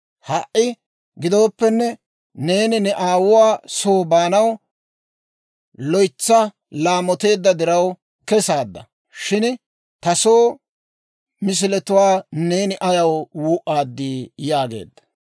Ha"i gidooppenne, neeni ne aawuwaa soo baanaw loytsa laamoteedda diraw kesaadda. Shin ta soo misiletuwaa neeni ayaw wuu'aadii?» yaageedda.